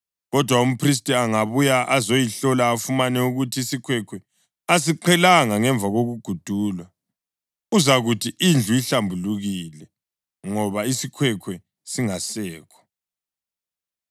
Kodwa umphristi angabuya ezoyihlola afumane ukuthi isikhwekhwe asiqhelanga ngemva kokugudulwa, uzakuthi indlu ihlambulukile, ngoba isikhwekhwe singasekho.